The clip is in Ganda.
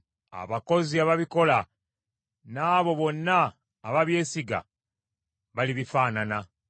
abakozi ababikola, n’abo bonna ababyesiga balibifaanana.